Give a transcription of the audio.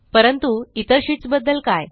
परंतु इतर शीट्स बद्दल काय